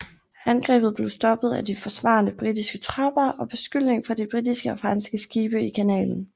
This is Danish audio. Angrebet blev stoppet af de forsvarende britiske tropper og beskydning fra de britiske og franske skibe i kanalen